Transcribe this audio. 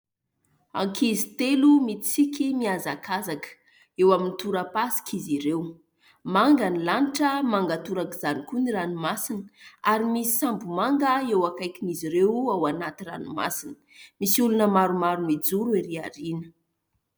Ankizy telo mitsiky mihazakazaka eo amin'ny toram-pasika izy ireo, manga ny lanitra, manga torak'izany koa ny ranomasina, ary misy sambo manga eo akaikin'izy ireo ao anaty ranomasina, misy olona maromaro mijoro ery aoriana.